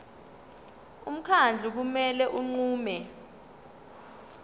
umkhandlu kumele unqume